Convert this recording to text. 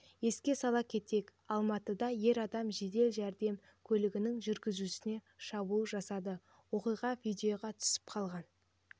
еске сала кетейік алматыда ер адам жедел жәрдем көлігінің жүргізушісіне шабуыл жасады оқиға видеоға түсіп қалған